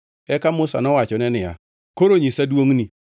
Eka Musa nowachone niya, “Koro nyisa duongʼni.”